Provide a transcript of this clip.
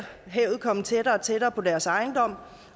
havet komme tættere og tættere på deres ejendom